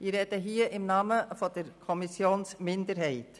Ich spreche im Namen der Kommissionsminderheit.